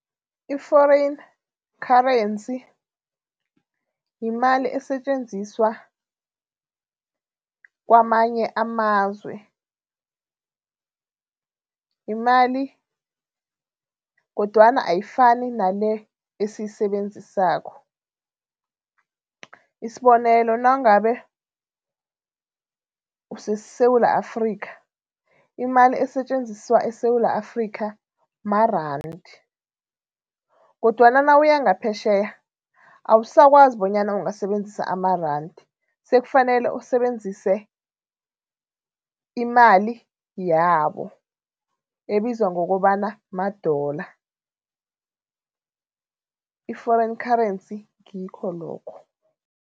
I-foreign currency yimali esetjenziswa kwamanye amazwe, yimali kodwana ayifani nale esiyisebenzisako. Isibonelo, nangabe useSewula Afrika, imali esetjenziswa eSewula Afrika marandi kodwana nawuya ngaphetjheya, awusakwazi bonyana ungasebenzisa amarandi, sekufanele usebenzise imali yabo ebizwa ngokobana ma-dollar, i-foreign currency ngikho lokho.